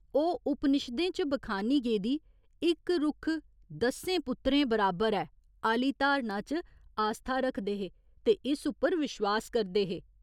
ओह् उपनिशदें च बखानी गेदी ''इक रुक्ख दस्सें पुत्तरें बराबर ऐ'' आह्‌ली धारणा च आस्था रखदे हे ते इस उप्पर विश्वास करदे हे।